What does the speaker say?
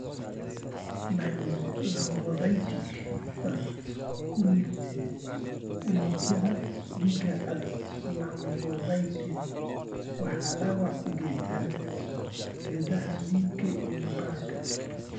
Lymphocytic vasculitis, unugyada dhiigga cad (lymphocytes) waxay dhaawac u geystaan ​​xididdada dhiigga ee maqaarka.